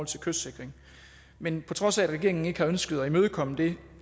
til kystsikring men på trods af at regeringen ikke har ønsket at imødekomme det